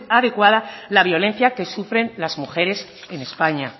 adecuada la violencia que sufren las mujeres en españa